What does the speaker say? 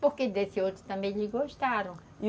Porque desse outro também eles gostaram.